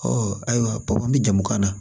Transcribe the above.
ayiwa papiye jamu kan na